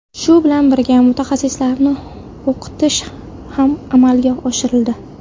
Shu bilan birga, mutaxassislarni o‘qitish ham amalga oshirildi.